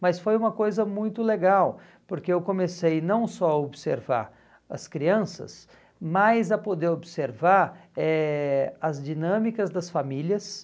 Mas foi uma coisa muito legal, porque eu comecei não só a observar as crianças, mas a poder observar eh as dinâmicas das famílias